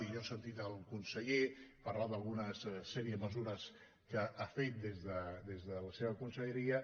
i jo he sentit el conseller parlar d’una sèrie de mesu·res que ha fet des de la seva conselleria